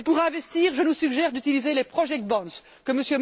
Et pour investir, je vous suggère d'utiliser les projects bonds que